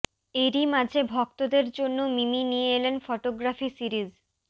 এরই মাঝে ভক্তদের জন্য মিমি নিয়ে এলেন ফোটোগ্রাফি সিরিজ